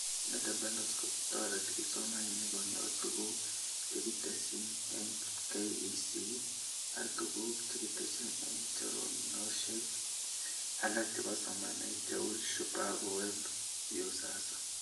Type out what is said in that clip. Data bundles kotoreti kipsomanink konyor tuguk chekikitesyi eng KEC ak tuguk chekikitesyi eng choranoshek alak chebo somanet cheu Shupavu Web, Viusasa